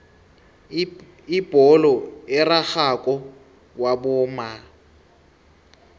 ibholo erarhako wabomma